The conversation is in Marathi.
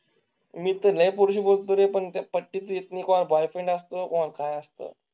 मी तर नाही पूर्वी बोलतो आहे पण त्या पट्टीत एक बॉयफ्रेंड असतो. पण काय असतं?